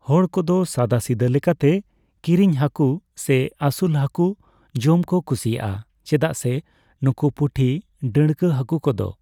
ᱦᱚᱲ ᱠᱚᱫᱚ ᱥᱟᱫᱟᱥᱤᱫᱟᱹ ᱞᱮᱠᱟᱛᱮ ᱠᱤᱨᱤᱧ ᱦᱟᱠᱩ ᱥᱮ ᱟᱹᱥᱩᱞ ᱦᱟᱹᱠᱩ ᱡᱚᱢ ᱠᱚ ᱠᱩᱥᱤᱭᱟᱜᱼᱟ᱾ ᱪᱮᱫᱟᱜ ᱥᱮ ᱱᱩᱠᱩ ᱯᱩᱴᱤ, ᱰᱟᱹᱬᱠᱟᱹ ᱦᱟᱠᱩ ᱠᱚᱫᱚ